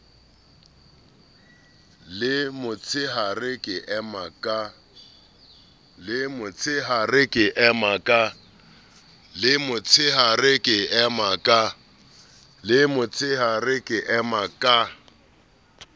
le motsheare ka ema ka